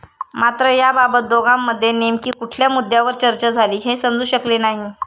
मात्र याबाबत दोघांमध्ये नेमकी कुठल्या मुद्द्यावर चर्चा झाली हे समजू शकले नाही.